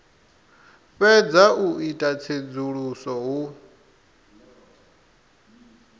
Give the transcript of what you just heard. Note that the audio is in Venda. fhedza u ita tsedzuluso hu